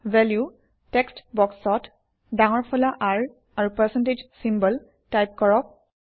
value text বক্সত ডাঙৰ ফলা R আৰু পাৰ্চেণ্টেজ চিম্বল টাইপ কৰক